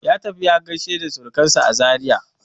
Ya tafi ya gaishe da surkansa a Zaria.